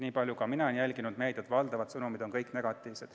Nii palju, kui mina olen meediat jälginud, on kõik sõnumid negatiivsed.